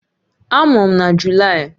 Amụrụ m na Julaị